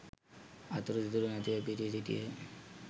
අතුරු සිදුරු නැතිව පිරී සිටියහ.